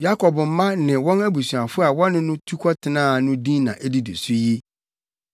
Yakob mma ne wɔn abusuafo a wɔne no tu kɔtenaa no din na edidi so yi.